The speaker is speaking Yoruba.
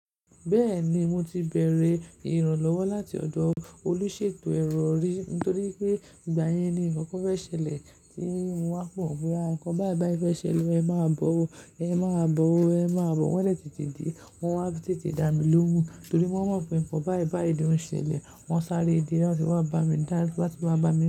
Bẹ́ẹ̀ni mo ti bère ìrànlọ́wọ́ láti ọ̀dọ̀ olúṣètò ẹrọ rí, nítorí pé ìgbà yẹn ni ǹkan fẹ́ ṣẹlẹ̀ tí mo wá pọ̀ mọ́. Nǹkan báì báì fẹ́ ṣẹlẹ̀, ẹ máa bọ̀ ó, ẹ máa bọ̀ ó, ẹ máa bọ̀ ó. Wọ́n dẹ̀ tètè dé, wọ́n wá tètè dá mi lóhùn, torí wọ́n mọ̀ pé nǹkan báì báì ló ṣẹlẹ̀. Wọ́n sáré dé, wọ́n ti wá bá mi, láti wá bá mi.